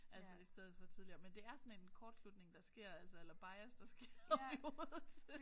Altså i stedet for tidligere men det er sådan en kortslutning der sker altså eller bias der sker oppe i hovedet